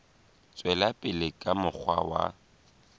tswela pele ka mokgwa wa